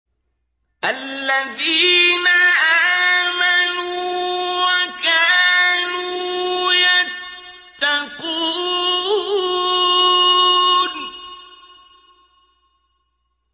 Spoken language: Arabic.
الَّذِينَ آمَنُوا وَكَانُوا يَتَّقُونَ